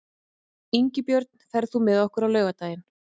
Ingibjörn, ferð þú með okkur á laugardaginn?